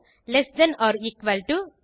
less than or equal to